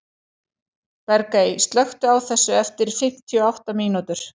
Bergey, slökktu á þessu eftir fimmtíu og átta mínútur.